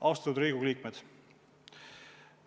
Austatud Riigikogu liikmed!